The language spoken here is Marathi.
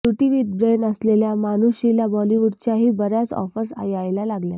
ब्युटी विथ ब्रेन असलेल्या मानुषीला बाॅलिवूडच्याही बऱ्याच आॅफर्स यायला लागल्यात